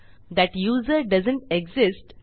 that user doesn't exist